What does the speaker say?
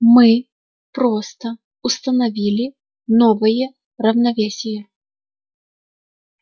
мы просто установили новые равновесие